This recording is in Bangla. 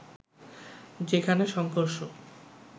যেখানে সংঘর্ষ